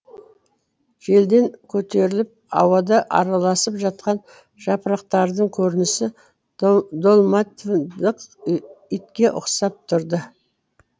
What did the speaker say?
желден көтеріліп ауада араласып жатқан жапырақтардың көрінісі долматиндық итке ұқсап тұрды